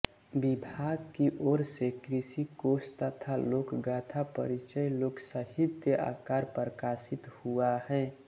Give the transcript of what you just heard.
विभाग की ओर से कृषिकोश तथा लोकगाथा परिचय लोकसाहित्य आकर प्रकाशि हुआ है